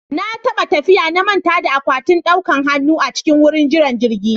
Na taɓa tafiya na manta da akwatin ɗaukan hanu a cikin wurin jiran jirgi